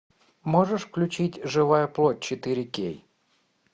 можешь включить живая плоть четыре кей